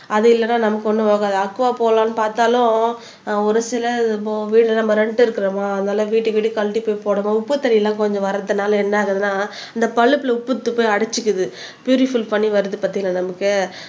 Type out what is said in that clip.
அது இல்லன்னா நமக்கு ஒன்னும் ஓடாது அக்குவா போடலாம்னு பார்த்தாலும் ஒரு சில வீடு நம்ம ரென்ட் இருக்கிறோமா அதனால வீட்டுக்கு வீடு கழட்டி போய் போடணும் உப்பு தண்ணி எல்லாம் கொஞ்சம் வரத்தினால என்ன ஆகுதுன்னா இந்த பழுப்புல உப்பெடுத்து போய் அடச்சிக்குது பியூரிஃபைட் பண்ணி வருது பாத்தீங்களா நமக்கு